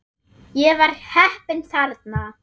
Ég var heppinn þarna